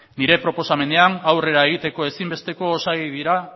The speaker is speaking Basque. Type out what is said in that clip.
nire proposamenean aurrera egiteko ezinbesteko osagai dira